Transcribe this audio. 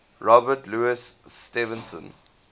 robert louis stevenson